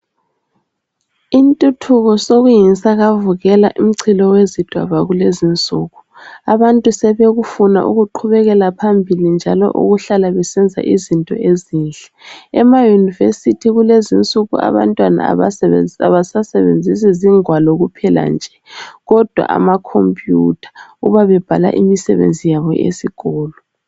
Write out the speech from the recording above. Intuthuko sokuyinsakavukela umchilo wezidwaba kulezi insuku. Abantu sebekufuna ukuqhubekela phambili njalo ukuhlala besenza izinto ezinhle. EmaYunivesi kulezi insuku abantwana abasasebenzisi zingwalo kuphela nje kodwa amakhompiyutha uma bebhala imisebenzi yabo eyesikolo.